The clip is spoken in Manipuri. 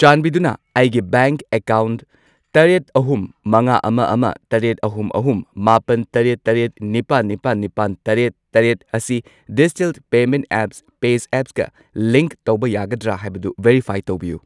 ꯆꯥꯟꯕꯤꯗꯨꯅ ꯑꯩꯒꯤ ꯕꯦꯡꯛ ꯑꯦꯀꯥꯎꯟꯠ ꯇꯔꯦꯠ, ꯑꯍꯨꯝ, ꯃꯉꯥ, ꯑꯃ, ꯑꯃ, ꯇꯔꯦꯠ, ꯑꯍꯨꯝ, ꯑꯍꯨꯝ, ꯃꯥꯄꯟ, ꯇꯔꯦꯠ, ꯇꯔꯦꯠ, ꯅꯤꯄꯥꯟ, ꯅꯤꯄꯥꯜ, ꯅꯤꯄꯥꯜ, ꯇꯔꯦꯠ, ꯇꯔꯦꯠ ꯑꯁꯤ ꯗꯤꯖꯤꯇꯦꯜ ꯄꯦꯃꯦꯟꯠ ꯑꯦꯞ ꯄꯦꯖꯑꯦꯞꯀ ꯂꯤꯡꯛ ꯇꯧꯕ ꯌꯥꯒꯗ꯭ꯔꯥ ꯍꯥꯏꯕꯗꯨ ꯚꯦꯔꯤꯐꯥꯏ ꯇꯧꯕꯤꯌꯨ꯫